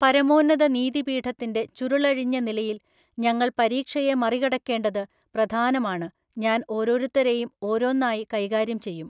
പരമോന്നത നീതിപീഠത്തിന്റെ ചുരുളഴിഞ്ഞ നിലയിൽ ഞങ്ങൾ പരീക്ഷയെ മറികടക്കേണ്ടത് പ്രധാനമാണ് ഞാൻ ഓരോരുത്തരെയും ഓരോന്നായി കൈകാര്യം ചെയ്യും.